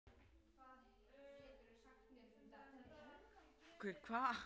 Reykjavíkursvæðisins var komið á laggirnar á